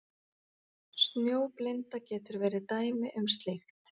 Snjóblinda getur verið dæmi um slíkt.